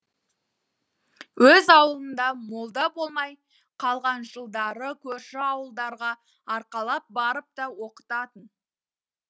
өз ауылында молда болмай қалған жылдары көрші ауылдарға арқалап барып та оқытатын